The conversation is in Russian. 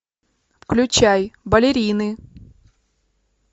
включай балерины